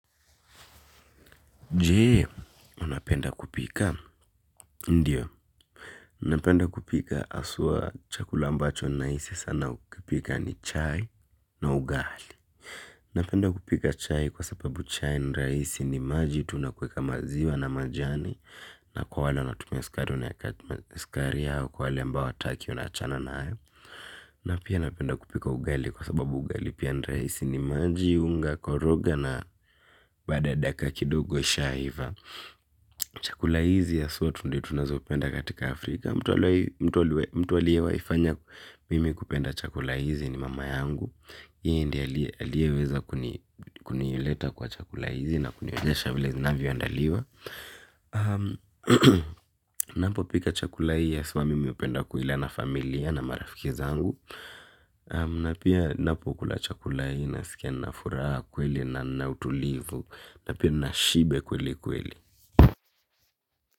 Jee unapenda kupika ndiyo napenda kupika asua chakula ambacho nahisi sana kupika ni chai na ugali napenda kupika chai kwa sababu chai niraisi ni maji tunakweka maziwa na majani na kwa wale wana tumesikari unayaka tumesikari ya hawa kwa wala ambao ataki unachana na hawa. Na pia napenda kupika ugali kwa sababu ugali pia ni reisi ni maji unga, koroga na bada daka kidogo ishaiva. Chakula hizi haswa tu ndo tunazopenda katika Afrika. Mtu aliye waifanya mimi kupenda chakula hizi ni mama yangu yeye ndiye aliyeweza kunileta kwa chakula hizi na kunionyesha vile zinavyo andaliwa. Napo pika chakula hii haswa mimi hupenda kuila na familia na marafiki zangu. Na pia napo kula chakula hii naskiai na furaha kweli na nautulivu. Napia nashiba kweli kweli.